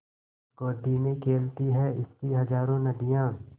गोदी में खेलती हैं इसकी हज़ारों नदियाँ